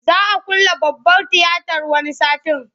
Za a külle babbar tiyatar wani satin.